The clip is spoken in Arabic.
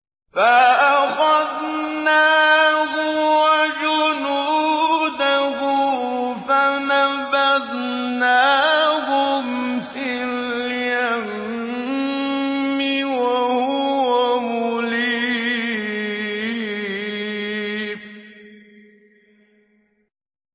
فَأَخَذْنَاهُ وَجُنُودَهُ فَنَبَذْنَاهُمْ فِي الْيَمِّ وَهُوَ مُلِيمٌ